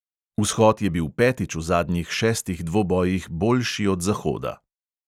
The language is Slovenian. Vzhod je bil petič v zadnjih šestih dvobojih boljši od zahoda.